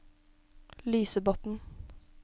Lysebotn